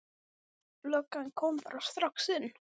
Tvennt er nauðsynlegt til að jarðhitakerfi geti orðið til.